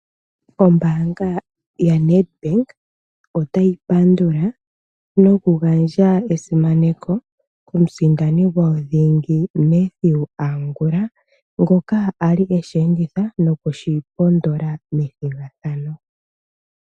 Ombaanga yaNedbank otayi pandula nokugandja esimaneko komusindani gwayo dhingi Mathew Angula ngoka a li e shi enditha noku shi pondola methigathano.